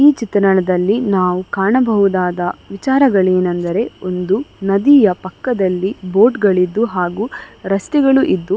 ಈ ಚಿತ್ರಣದಲ್ಲಿ ನಾವು ಕಾಣಬಹುದಾದ ವಿಚಾರ ವೇನೆಂದರೆ ಒಂದು ನದಿಯ ಪಕ್ಕದಲ್ಲಿ ಬೋಟ್ ಗಳು ಇದ್ದು ಹಾಗು ರಸ್ತೆಗಳು ಇದ್ದು --